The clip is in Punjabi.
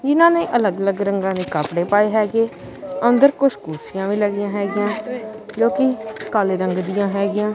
ਇਹਨਾਂ ਨੇ ਅਲੱਗ ਅਲੱਗ ਰੰਗਾਂ ਦੇ ਕੱਪੜੇ ਪਾਏ ਹੈਗੇ ਅੰਦਰ ਕੁਛ ਕੁਰਸੀਆਂ ਵੀ ਲੱਗੀਆਂ ਹੈਗੀਆਂ ਜੋ ਕਿ ਕਾਲੇ ਰੰਗ ਦੀਆਂ ਹੈਗੀਆਂ।